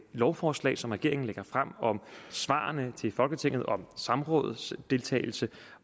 lovforslag som regeringen lægger frem om svarene til folketinget om samrådsdeltagelse